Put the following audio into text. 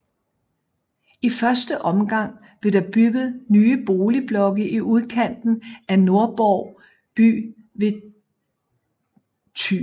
I første omgang blev der bygget nye boligblokke i udkanten af Nordborg by ved Th